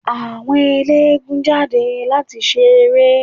Àwọn ẹlẹ́gùn-ún jáde láti ṣe eré.